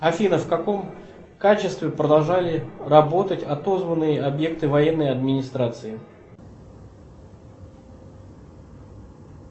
афина в каком качестве продолжали работать отозванные объекты военной администрации